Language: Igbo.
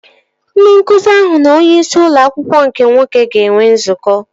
Ndị nkụzi ahụ na onye isi ụlọ akwụkwọ nke nwoke ga-enwe nzukọ